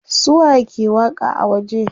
Su waye ke waƙa a waje?